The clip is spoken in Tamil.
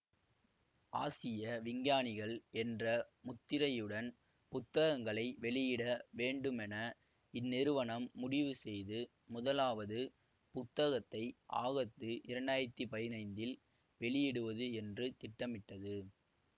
ஆசிய விஞ்ஞானிகள் என்ற முத்திரையுடன் புத்தகங்களை வெளியிட வேண்டுமென இந்நிறுவனம் முடிவு செய்து முதலாவது புத்தகத்தை ஆகத்து இரண்டு ஆயிரத்தி பதினைந்தில் வெளியிடுவது என்று திட்டமிட்டது